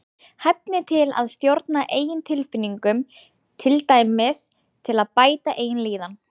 Hæfni til að stjórna eigin tilfinningum, til dæmis til að bæta eigin líðan.